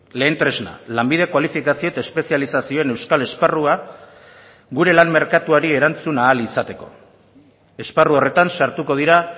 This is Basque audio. lehen tresna lanbide kualifikazio eta espezializazioen euskal esparrua gure lan merkatuari erantzun ahal izateko esparru horretan sartuko dira